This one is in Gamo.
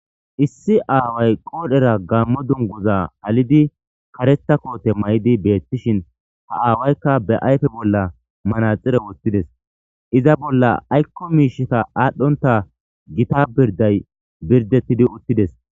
issi aaway qoodhera gammo dunguza halidi kareta koote maydi beettishin ha aawaykka be ayfe bolla manaxire wottides iza bolla aykko miishita aadhdhonta gita birday birdettidi uttides